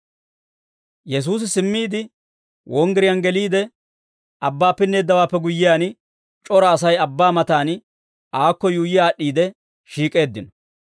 Yesuusi simmiide, wonggiriyaan geliide, abbaa pinneeddawaappe guyyiyaan, c'ora Asay abbaa mataan Aakko yuuyyi aad'd'iide shiik'eeddino.